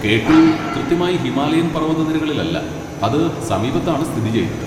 K two കൃത്യമായി ഹിമാലയൻ പർവതനിരകളിലല്ല, അത് സമീപത്താണ് സ്ഥിതി ചെയ്യുന്നത്.